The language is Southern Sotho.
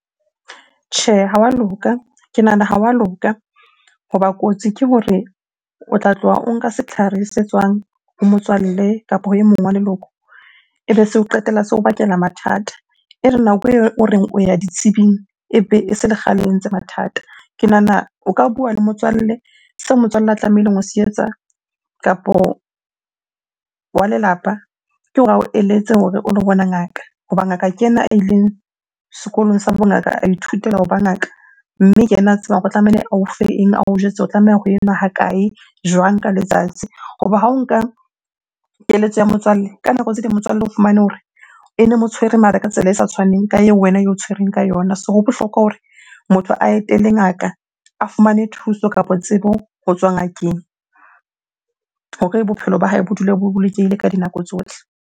Tjhe, ha wa loka. Ke nahana ha wa loka hoba kotsi ke hore o tla tloha o nka setlhare se tswang ho motswalle kapa ha e mong wa leloko ebe so qetella se o bakela mathata. E re nako eo o reng o ya ditsebing, ebe e se le kgale e ntse mathata. Ke nahana o ka bua le motswalle seo motswalle a tlamehileng ho se etsa, kapo wa lelapa ke hore ao eletse hore o lo bona ngaka. Hoba ngaka ke yena a ileng sekolong sa bongaka, a ithutela hoba ngaka. Mme ke ena a tsebang hore tlamehile ao fe eng? ao jwetse o tlameha ho e nwa hakae? jwang ka letsatsi? Hoba ha o nka keletso ya motswalle, ka nako tse ding motswalle o fumane hore ene mo tshwere mare ka tsela e sa tshwaneng ka eo wena eo tshwereng ka yona. So ho bohlokwa hore motho a etele ngaka, a fumane thuso kapo tsebo ho tswa ngakeng hore bophelo ba hae bo dule bo bolokehile ka dinako tsohle.